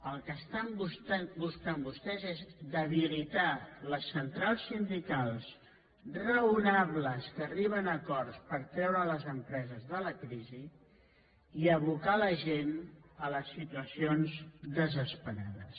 el que estan buscant vostès és debilitar les centrals sindicals raonables que arriben a acords per treure les empreses de la crisi i abocar la gent a les situacions desesperades